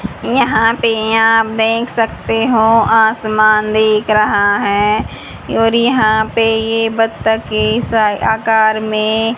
यहां पे आप देख सकते हो आसमान दिख रहा है और यहां पे ये बत्तकें सा आकार में--